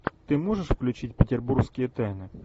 ты можешь включить петербургские тайны